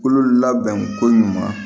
Kolo labɛn ko ɲuman